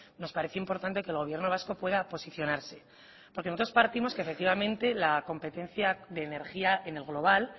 nos parece importante que el gobierno vasco pueda posicionarse porque nosotros partimos que efectivamente la competencia de energía en el global